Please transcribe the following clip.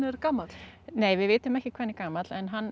er gamall nei við vitum ekki hvað hann er gamall en hann